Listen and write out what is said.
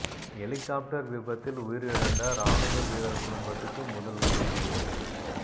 helicopter விபத்தில் உயிரிழந்தார் ராணுவ வீரர் குடும்பத்துக்கு முதல்வர் நிதி உதவி